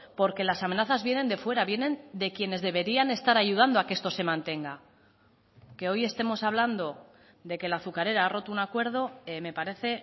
porque las amenazas vienen de fuera vienen de quienes deberían estar ayudando a que esto se mantenga que hoy estemos hablando de que la azucarera ha roto un acuerdo me parece